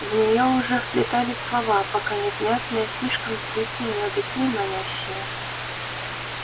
в неё уже вплетались слова пока невнятные слишком тихие но такие манящие